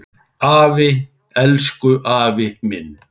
Afi, elsku afi minn.